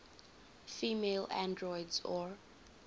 female androids or